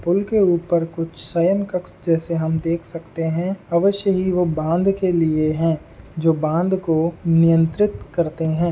पुल के ऊपर कुछ सयन कक्ष जैसे हम देख सकते हैं अवश्य ही वो बांध के लिए है जो बांध को नियंत्रित करते हैं |